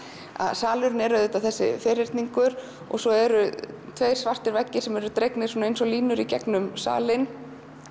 salurinn er ferhyrningur svo eru tveir svartir veggir sem eru dregnir eins og línur gegnum salinn